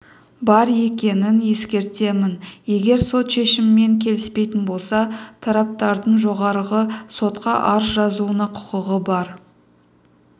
бар екенін ескертемін егер сот шешімімен келіспейтін болса тараптардың жоғарғы сотқа арыз жазуына құқығы бар